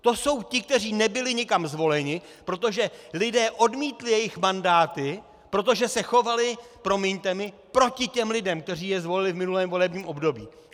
To jsou ti, kteří nebyli nikam zvoleni, protože lidé odmítli jejich mandáty, protože se chovali, promiňte mi, proti těm lidem, kteří je zvolili v minulém volebním období.